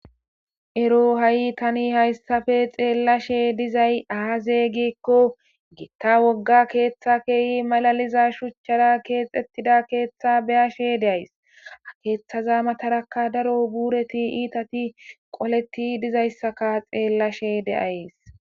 Ero ha'i tani hayssafe xeellashe dizay aaze gikko giitta wogga keeththa keeyi malaliza shuchchara keexxettida keeththa beyashe deays keeththaza matarakka daro buureti iitati qoleti dizayssaka xeellashe deayes.